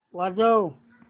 वाजव